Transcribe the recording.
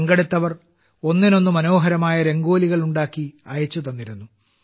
പങ്കെടുത്തവർ ഒന്നിനൊന്ന് മനോഹരമായ രംഗോലികൾ ഉണ്ടാക്കി അയച്ചു തന്നിരുന്നു